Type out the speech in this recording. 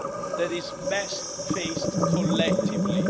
that is best faced collectively.